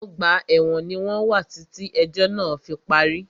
Ọgbà ẹ̀wọ̀n ní wọ́n wà títí ẹ̀jọ́ náà fí parí.